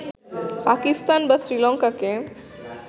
পাকিস্তান বা শ্রীলঙ্কাকে